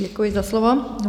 Děkuji za slovo.